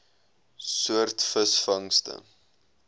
soort visvangste